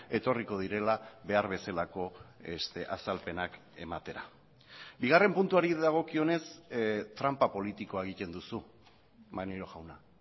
etorriko direla behar bezalako azalpenak ematera bigarren puntuari dagokionez tranpa politikoa egiten duzu maneiro jauna